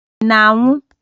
Ị na-anwụ?